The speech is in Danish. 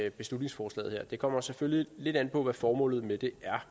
et beslutningsforslag det kommer selvfølgelig lidt an på hvad formålet med det er